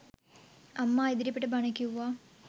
අම්මා ඉදිරිපිට බණ කිව්වා.